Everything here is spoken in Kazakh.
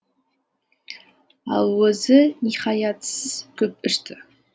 ал өзі ниһаятсыз көп ішті